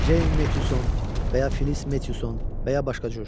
Jane Meşon, və ya Filis Meşon, və ya başqa cür.